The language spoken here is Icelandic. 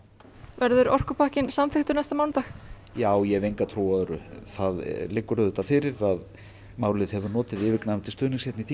verður orkupakkinn samþykktur næsta mánudag já ég hef enga trú á öðru það liggur auðvitað fyrir að málið hefur notið yfirgnæfandi stuðnings hér í